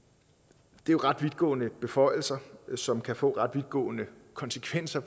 det er jo ret vidtgående beføjelser som kan få ret vidtgående konsekvenser